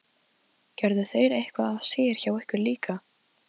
Gerðu þeir eitthvað af sér hjá ykkur líka?